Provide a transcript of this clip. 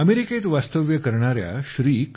अमेरिकेत वास्तव्य करणार्या श्री